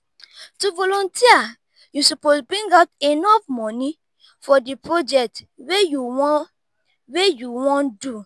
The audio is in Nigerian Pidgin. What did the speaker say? to volunteer you suppose bring out enough moni for di project wey you won wey you won do